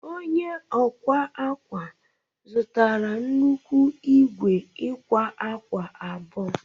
Onye ọ akwa akwa zụtara nnukwu igwe ịkwa akwa abụọ